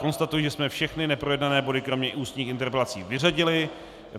Konstatuji, že jsme všechny neprojednané body kromě ústních interpelací vyřadili.